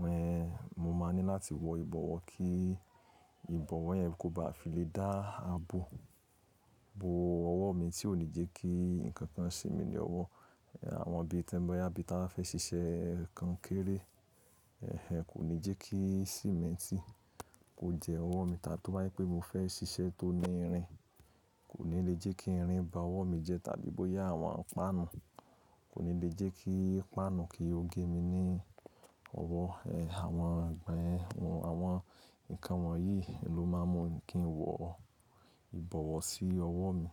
Hẹ̀n, mo máa ní láti wọ ìbọ̀wọ́ kí ìbọ̀wọ́ yẹn kó ba fi lè dá ààbò bo ọwọ́ mi tí ò ní jẹ́ kí nǹkankan se mi ní ọwọ́. Ẹ̀hẹ̀, àwọn ibí ti n boya, bí i táa fẹ́ ṣiṣẹ́ kankéré, ẹ̀hẹ̀ kò ní jẹ́ kí símẹ́ntì kó jẹ ọwọ́ mi táa tó bá je pé mo fẹ́ ṣiṣẹ́ tó ní irin, kò ní lè jẹ́ kí irin ba ọwọ́ mi jẹ tàbí bóyá àwọn páànù, kò ní lè jẹ́ kí páànù kí ó gé mi ní ọwọ́. Ẹ̀hẹ̀, àwọn ǹkan wọ̀nyí ló máa ń mú kí n wọ ìbọ̀wọ́ sí ọwọ́ mi.